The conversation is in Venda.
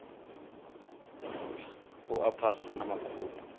u a phasa na makhulu